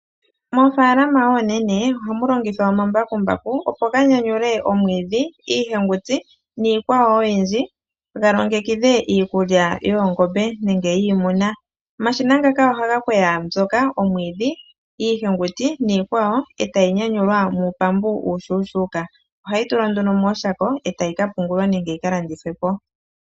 Moofaalama oonene ohamu longithwa omambakumbaku opo ga nyanyule omwiidhi iihenguti niikwawo oyindji galongekidhe iikulya yoongombe nenge yiimuna. Omshina ngaka ohaga kweya omwiidhi, iihenguti nosho tuu etayi nyanyulwa muupambu uushuushuuka. Ohayi tulwa mooshako etayi ka pungulwa nenge yika landithwe po.